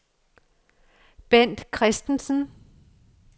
Bent Christensen